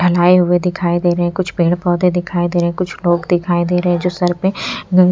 फहलाए हुए दिखाई दे रहे हैं कुछ पेड़ पौधे दिखाई दे रहे हैं कुछ लोग दिखाई दे रहे हैं जो सर पे --